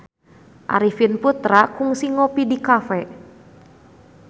Arifin Putra kungsi ngopi di cafe